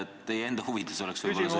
Teie enda huvides oleks võib-olla see, et ...